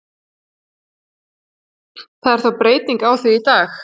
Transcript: Það er þó breyting á því í dag.